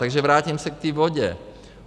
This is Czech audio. Takže vrátím se k té vodě.